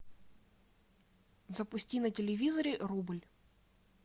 запусти на телевизоре рубль